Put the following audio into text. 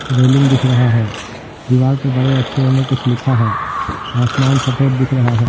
Railing दिख रहा है दीवार पे बड़े अक्षरों में कुछ लिखा है आसमान सफेद दिख रहा है।